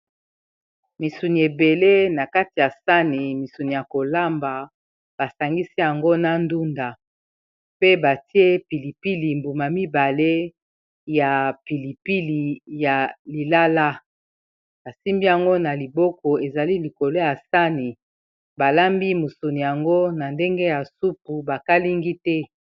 misuni ebele na kati ya sani misuni ya kolamba basangisi yango na ndunda pe batie pilipili mbuma mibale ya pilipili ya lilala basimbi yango na liboko ezali likolo ya sani balambi misuni yango na ndenge ya supu bakalingi te